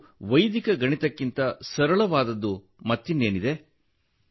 ಮತ್ತು ವೈದಿಕ ಗಣಿತಕ್ಕಿಂತ ಸರಳವಾದದ್ದು ಮತ್ತಿನ್ನೇನಿದೆ